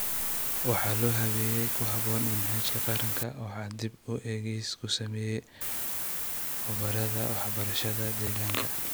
Waxaa loo habeeyey ku haboon manhajka qaranka, waxaana dib u eegis ku sameeyay khubarada waxbarashada deegaanka.